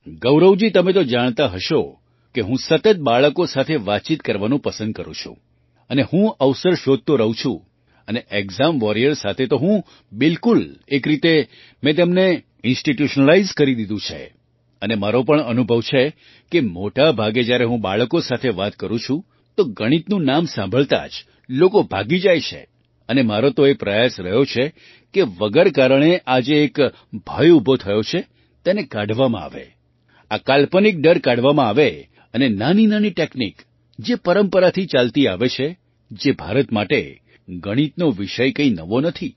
ગૌરવજી તમે તો જાણતા હશો કે હું સતત બાળકો સાથે વાતચીત કરવાનું પસંદ કરું છું અને હું અવસર શોધતો રહું છું અને ઍક્ઝામ વૉરિયર સાથે તો હું બિલકુલ એક રીતે મેં તેમને ઇન્સ્ટિટ્યૂશનલાઇઝ્ડ કરી દીધું છે અને મારો પણ અનુભવ છે કે મોટા ભાગે જ્યારે હું બાળકો સાથે વાત કરું છું તો ગણિતનું નામ સાંભળતા જ લોકો ભાગી જાય છે અને મારો તો એ પ્રયાસ રહ્યો છે કે વગર કારણે આ જે એક ભય ઊભો થયો છે તેને કાઢવામાં આવે આ કાલ્પનિક ડર કાઢવામાં આવે અને નાનીનાની ટૅક્નિક જે પરંપરાથી ચાલતી આવે છે જે ભારત માટે ગણિતનો વિષય કંઈ નવો નથી